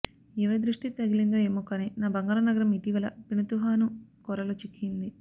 ఎవరి దృష్టి తగిలిందో ఏమోకానీ నా బంగారు నగరం ఇటీవల పెనుతుపాను కోరల్లో చిక్కింది